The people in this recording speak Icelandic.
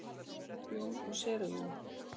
Jón og séra Jón.